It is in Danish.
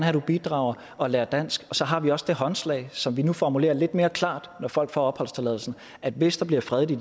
at du bidrager og lærer dansk så har vi også det håndslag som vi nu formulerer lidt mere klart når folk får opholdstilladelsen at hvis der bliver fred i